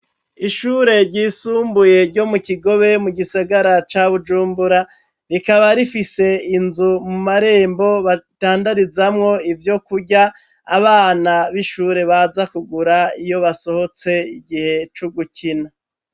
Ishure ryisumbuye ryo mu kigobe, mu gisagara ca bujumbura, rikaba rifise inzu mu marembo badandarizamwo ivyo kurya, Abana b'ishure baza kugura iyo basohotse igihe cugukina.